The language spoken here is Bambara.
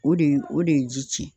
O de ye o de ye ji cɛn